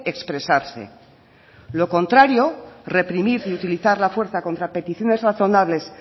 expresarse lo contrario reprimir y utilizar la fuerza contra peticiones razonables